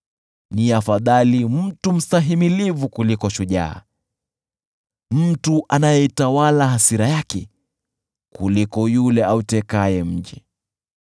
Ni afadhali mtu mstahimilivu kuliko shujaa, mtu anayeitawala hasira yake kuliko yule autekaye mji.